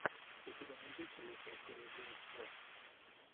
у тебя найдется лучшая серия геймс клаб